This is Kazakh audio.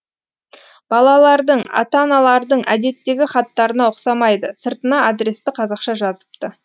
балалардың ата аналардың әдеттегі хаттарына ұқсамайды сыртына адресті қазақша жазыпты